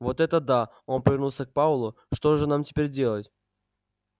вот это да он повернулся к пауэллу что же нам теперь делать